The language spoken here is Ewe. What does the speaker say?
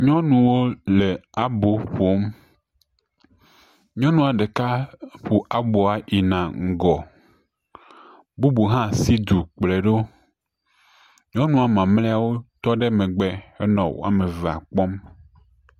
nyɔnua le abo ƒom, nyɔnua ɖeka ƒo aboa yina ŋgɔ, bubu hã si du kpɔe ɖo, nyɔnua mamleawo tɔ ɖe megbe nɔ ame evea kpɔm.